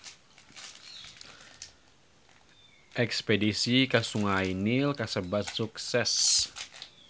Espedisi ka Sungai Nil kasebat sukses